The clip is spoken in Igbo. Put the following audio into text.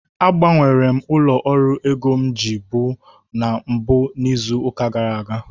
agbanwere m ụlọ ọrụ ego m ji bụ na mbụ n'izu ụka gara aga